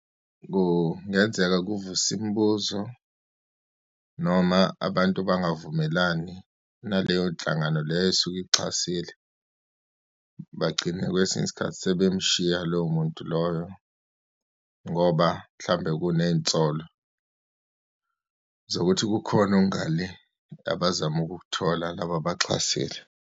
Kungenzeka kuvuse imibuzo noma abantu bengavumelani naleyo nhlangano le esuke ukuxhasile, bagcine kwesinye isikhathi sebemshiya loyo muntu loyo, ngoba mhlambe, kuneyinsolo zokuthi kukhona okungale abazama ukukuthola laba abaxhasile.